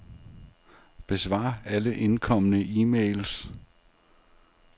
Besvar alle indkomne e-mails.